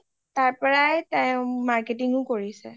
তাৰ পৰাই তাই marketing ও কৰিছে